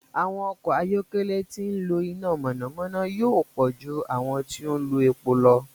Àwọn ọkọ̀ ayọ́kẹ́lẹ́ tí ń lo iná mọ̀nàmọ́ná yóò pọ̀ ju àwọn tí ń lo epo lọ.